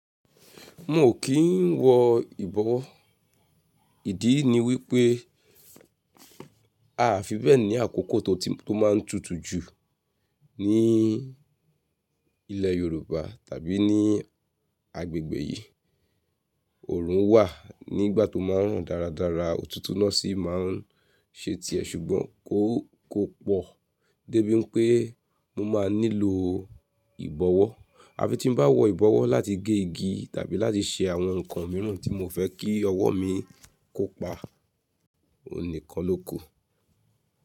Mo kì í wọ ìbọwọ́. Ìdí ni wípé a fi bẹ́ẹ̀ ní àkókò tó máa ń tutù jù ní ilẹ̀ Yorùbá tàbí ní agbègbè yìí. Òòrùn wà nígbà tó máa ń rùn dáradára, òtútù náà sì máa ń ṣe tiẹ̀ ṣùgbọ́n kò, kò pọ̀ débi pé mo máa nílò ìbọwọ́. Á fi tí bá wọ ìbọwọ́ láti gé igi tàbí láti ṣe àwọn nǹkan mìíràn tí mo fẹ́ kí ọwọ́ mi kó pa, òhun kan ló kù.